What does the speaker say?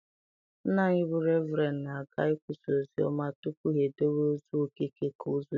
Nna anyị bụ Reverend na-aga ikwusa ozi ọma tupu ha edowe ozu Okeke ka ọ zuru ike.